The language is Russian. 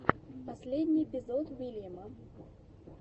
последний эпизод уильяма